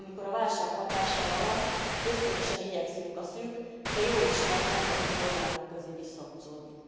Amikor a válság hatása alatt ösztönösen igyekszünk a szűk, de jól ismert nemzeti korlátok közé visszahúzódni.